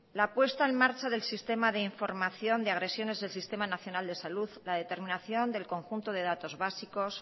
la puesta en marcha del sistema de información de agresiones del sistema nacional de salud la determinación del conjunto de datos básicos